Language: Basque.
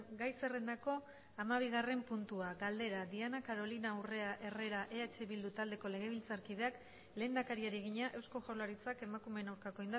gai zerrendako hamabigarren puntua galdera diana carolina urrea herrera eh bildu taldeko legebiltzarkideak lehendakariari egina eusko jaurlaritzak emakumeen aurkako